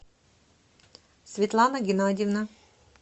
светлана геннадьевна